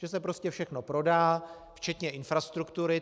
Že se prostě všechno prodá, včetně infrastruktury.